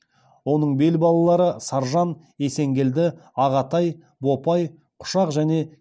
оның бел балалары саржан есенгелді ағатай бопай құшақ және